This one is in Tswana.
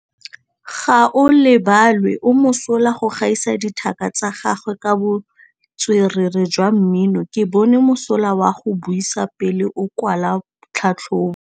Gaolebalwe o mosola go gaisa dithaka tsa gagwe ka botswerere jwa mmino. Ke bone mosola wa go buisa pele o kwala tlhatlhobô.